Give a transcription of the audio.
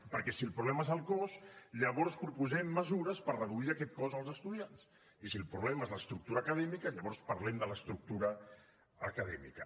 perquè si el problema és el cost llavors proposem mesures per reduir aquest cost als estudiants i si el problema és l’estructura acadèmica llavors parlem de l’estructura acadèmica